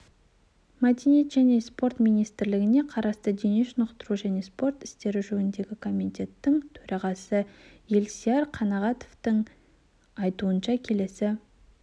мәдениет және спорт министрлігіне қарасты денешынықтыру және спорт істері жөніндегі комитеттің төрағасы елсияр қанағатовтың айтуынша келесі